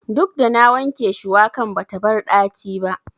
Duk da na wanke shuwakan bata bar ɗaci ba.